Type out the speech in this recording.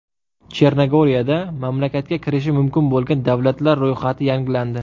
Chernogoriyada mamlakatga kirishi mumkin bo‘lgan davlatlar ro‘yxati yangilandi.